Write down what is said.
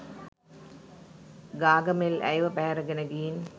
ගාගමෙල් ඇයව පැහැරගෙන ගිහිං